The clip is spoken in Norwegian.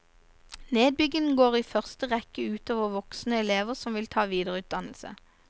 Nedbyggingen går i første rekke utover voksne elever som vil ta videreutdannelse.